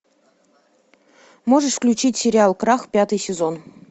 можешь включить сериал крах пятый сезон